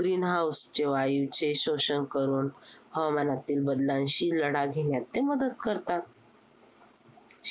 Green House चे वायूचे शोषण करून, हवामानातील बदलांशी लढा घेण्यात ते मदत करतात.